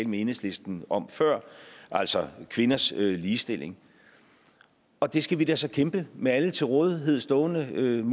med enhedslisten om før altså kvinders ligestilling og det skal vi da så kæmpe med alle til rådighed stående midler